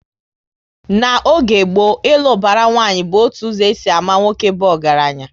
N'oge gboo, ilu ubara nwanyi bụ otu ụzọ e si ámá nwoke bụ ọgaranya